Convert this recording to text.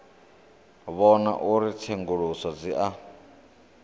vhona uri tsenguluso dzi a